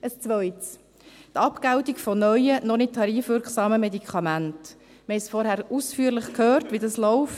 Das Zweite, die Abgeltung von neuen, noch nicht tarifwirksamen Medikamenten: Wir haben vorhin ausführlich gehört, wie dies läuft.